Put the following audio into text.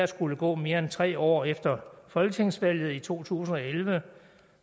skulle gå mere end tre år efter folketingsvalget i to tusind og elleve